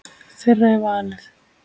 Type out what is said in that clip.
Þeirra er valið.